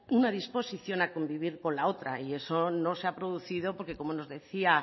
una disposición a convivir con la otra y eso no se ha producido porque como nos decía